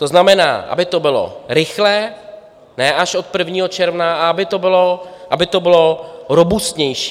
To znamená, aby to bylo rychlé, ne až od 1. června, a aby to bylo robustnější.